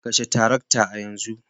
Kashe tarakta a yanzu